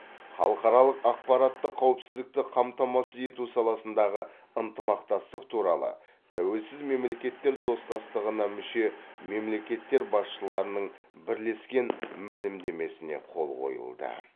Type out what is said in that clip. халықаралық ақпараттық қауіпсіздікті қамтамасыз ету саласындағы ынтымақтастық туралы тәуелсіз мемлекеттер достастығына мүше мемлекеттер басшыларының бірлескен мәлімдемесіне қол қойылды